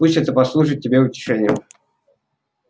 пусть это послужит тебе утешением